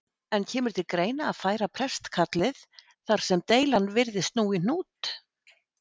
En kemur til greina að færa prestakallið þar sem deilan virðist nú í hnút?